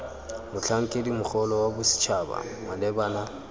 motlhankedi mogolo wa bosetšhaba malebana